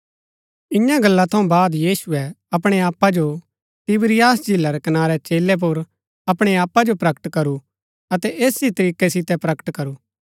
इन्या गल्ला थऊँ बाद यीशुऐ अपणै आपा जो तिबिरियास झीला रै कनारै चेलै पुर अपणै आपा जो प्रकट करू अतै ऐस ही तरीकै सितै प्रकट करू